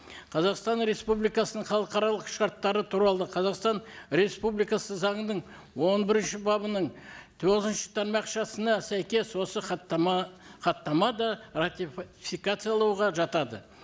қазақстан республикасының халықаралық шарттары туралы қазақстан республикасы заңының он бірінші бабының тоғызыншы тармақшасына сәйкес осы хаттама хаттама да жатады